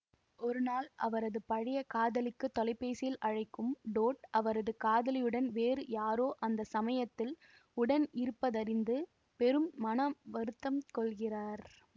ஒருநாள் அவரது பழைய காதலிக்கு தொலைபேசியில் அழைக்கும் டோட் அவரது காதலியுடன் வேறு யாரோ அந்த சமயத்தில் உடனிருப்பதறிந்து பெரும் மன வருத்தம் கொள்கிறார்